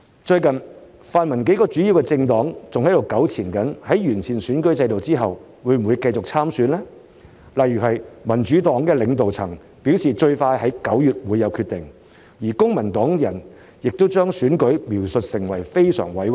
最近，泛民幾個主要政黨仍糾纏於在完善選舉制度後會否繼續參選，如民主黨領導層表示最快在9月會有決定，而公民黨中人亦把參選描述得是非常委屈。